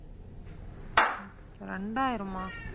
இரண்டாயிரமா